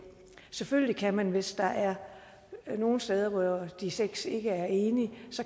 selvfølgelig kan man hvis der er nogle steder hvor de seks ikke er enige